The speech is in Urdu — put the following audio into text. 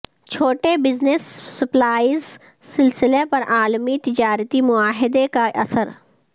چھوٹے بزنس سپلائز سلسلہ پر عالمی تجارتی معاہدے کا اثر